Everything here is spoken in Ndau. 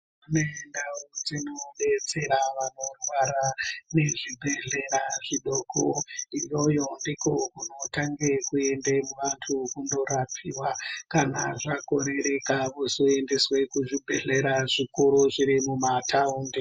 Kune ndau dzino detsera vanorwara nezvi bhedhlera zvidoko iyoyo ndikwo kunotange kuende vantu kundorapiwa kana zvakorereka vozoendeswe kuzvi bhedhlera zvikuru zviri muma taundi.